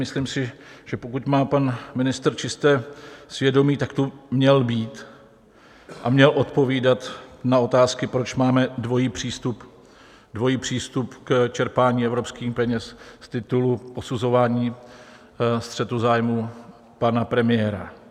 Myslím si, že pokud má pan ministr čisté svědomí, tak tu měl být a měl odpovídat na otázky, proč máme dvojí přístup k čerpání evropských peněz z titulu posuzování střetu zájmu pana premiéra.